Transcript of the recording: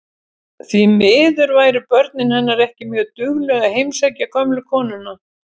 Því miður væru börnin hennar ekki mjög dugleg að heimsækja gömlu konuna.